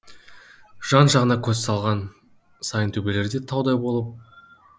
жан жағына көз салған сайын төбелер де таудай болып